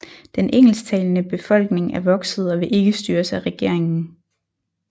Den engelsktalende befolkning er vokset og vil ikke styres af regeringen